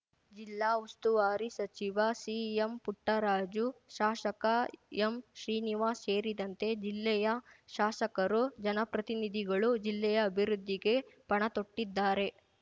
ಜಿಲ್ಲಾ ಉಸ್ತುವಾರಿ ಸಚಿವ ಸಿಎಂಪುಟ್ಟರಾಜು ಶಾಸಕ ಎಂಶ್ರೀನಿವಾಸ್ ಸೇರಿದಂತೆ ಜಿಲ್ಲೆಯ ಶಾಸಕರು ಜನಪ್ರತಿನಿಧಿಗಳು ಜಿಲ್ಲೆಯ ಅಭಿವೃದ್ಧಿಗೆ ಪಣತೊಟ್ಟಿದ್ದಾರೆ